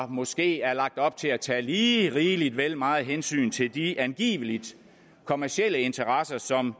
måske er lagt op til at tage lige rigeligt vel meget hensyn til de angiveligt kommercielle interesser som